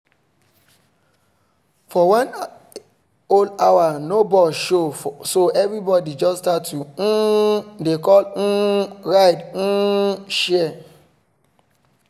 for one whole hour no bus show so everybody just start to um dey call um ride um share